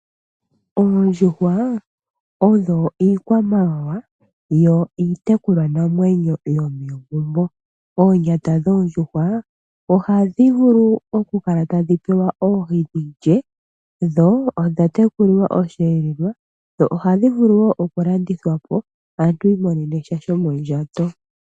Oondjuhwa odho iikwamawawa yo iitekulwanamwenyo yomegumbo. Oonyata dhoondjuhwa ohadhi vulu okukala tadhi pewa oohi dhi lye, dho odha tekulilwa osheelelwa dho ohadhi vulu woo okulandithwa po aantu yi imonene sha shomondjato.